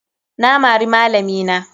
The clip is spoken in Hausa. Na mari malami na.